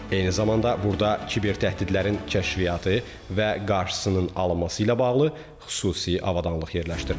Eyni zamanda, burada kiber təhdidlərin kəşfiyyatı və qarşısının alınması ilə bağlı xüsusi avadanlıq yerləşdirilib.